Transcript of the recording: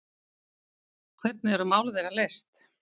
Hvernig eru mál þeirra leyst?